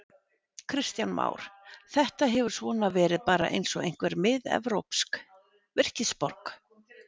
Kristján Már: Þetta hefur svona verið bara eins og einhver miðevrópsk virkisborg?